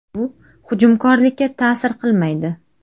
Bu hujumkorlikka ta’sir qilmaydi.